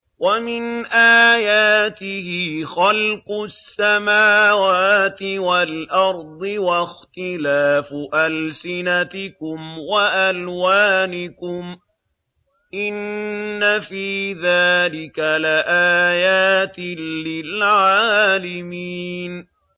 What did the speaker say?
وَمِنْ آيَاتِهِ خَلْقُ السَّمَاوَاتِ وَالْأَرْضِ وَاخْتِلَافُ أَلْسِنَتِكُمْ وَأَلْوَانِكُمْ ۚ إِنَّ فِي ذَٰلِكَ لَآيَاتٍ لِّلْعَالِمِينَ